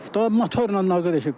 Daha motorla nağarıram ki?